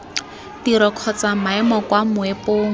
tiro kgotsa maemo kwa moepong